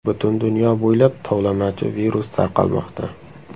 Butun dunyo bo‘ylab tovlamachi-virus tarqalmoqda.